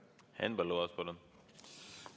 Henn Põlluaas, palun!